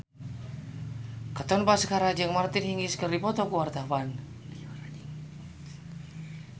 Katon Bagaskara jeung Martina Hingis keur dipoto ku wartawan